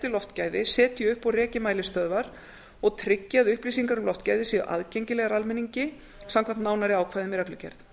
loftgæði setji upp og reki mælistöðvar svo og tryggi að upplýsingar um loftgæði séu aðgengilegar almenningi samkvæmt nánari ákvæðum í reglugerð